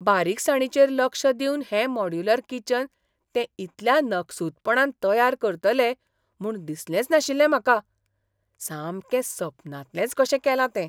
बारीकसाणीचेर लक्ष दिवन हें मॉड्यूलर किचन ते इतल्या नकसूदपणान तयार करतले म्हूण दिसलेंच नाशिल्लें म्हाका! सामकें सपनांतलेंच कशें केलां तें.